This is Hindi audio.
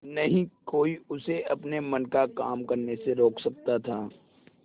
न ही कोई उसे अपने मन का काम करने से रोक सकता था